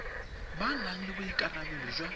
ba nang le boikarabelo jwa